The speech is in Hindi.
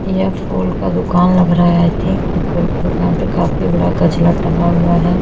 यह फूल का दुकान लग रहा है आय थिंक और फूल की दुकान पे काफी बड़ा गजरा टंगा हुआ है।